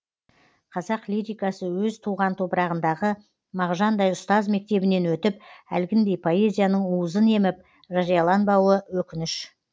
қазақ лирикасы өз туған топырағындағы мағжандай ұстаз мектебінен өтіп әлгіндей поэзияның уызын еміп жарияланбауы өкініш